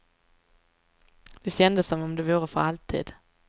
Det kändes som om det vore för alltid.